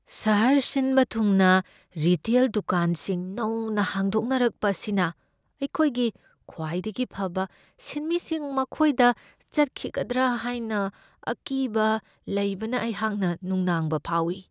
ꯁꯍꯔ ꯁꯤꯟꯕ ꯊꯨꯡꯅ ꯔꯤꯇꯦꯜ ꯗꯨꯀꯥꯟꯁꯤꯡ ꯅꯧꯅ ꯍꯥꯡꯗꯣꯛꯅꯔꯛꯄ ꯑꯁꯤꯅ ꯑꯩꯈꯣꯏꯒꯤ ꯈ꯭ꯋꯥꯏꯗꯒꯤ ꯐꯕ ꯁꯤꯟꯃꯤꯁꯤꯡ ꯃꯈꯣꯏꯗ ꯆꯠꯈꯤꯒꯗ꯭ꯔꯥ ꯍꯥꯏꯅ ꯑꯀꯤꯕ ꯂꯩꯕꯅ ꯑꯩꯍꯥꯛꯅ ꯅꯨꯡꯅꯥꯡꯕ ꯐꯥꯎꯢ ꯫